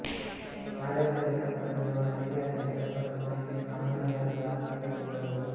ಆಡಳಿತ ಲೆಕ್ಕಪತ್ರ ನಿರ್ವಹಣೆ ಐತಿಹಾಸಿಕ ಲೆಕ್ಕಪತ್ರ ಮಾಹಿತಿಯ ಸಾಮನ್ಯ ಗಾತ್ರದ ಆರ್ಥಿಕ ಎಂದು ಹೇಳಬಹುದು